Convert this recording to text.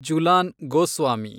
Jhulan Goswami